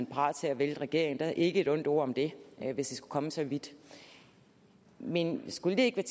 parat til at vælte regeringen ikke et ondt ord om det hvis det skulle komme så vidt men skulle det ikke